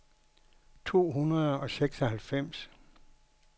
to hundrede og seksoghalvfems